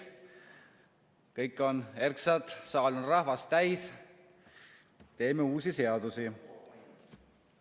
Kõik on erksad, saal on rahvast täis, teeme uusi seadusi.